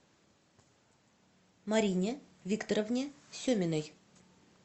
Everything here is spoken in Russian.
марине викторовне семиной